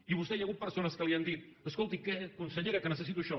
i a vostè hi ha hagut persones que li han dit escolti consellera que necessito això